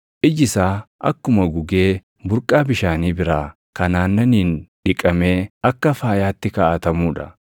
Iji isaa akkuma gugee burqaa bishaanii biraa kan aannaniin dhiqamee akka faayaatti kaaʼatamuu dha.